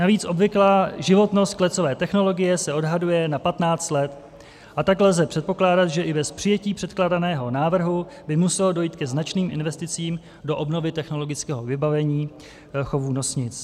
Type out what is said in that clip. Navíc obvyklá životnost klecové technologie se odhaduje na 15 let, a tak lze předpokládat, že i bez přijetí předkládaného návrhu by muselo dojít ke značným investicím do obnovy technologického vybavení chovu nosnic.